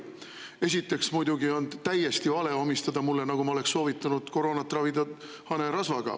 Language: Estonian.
Esiteks on muidugi täiesti vale omistada mulle, et ma olen soovitanud koroonat ravida hanerasvaga.